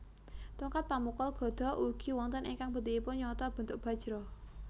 Tongkat pamukul gada ugi wonten ingkang bentukipun nyonto bentuk bajra